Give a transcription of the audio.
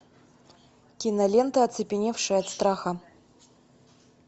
кинолента оцепеневшие от страха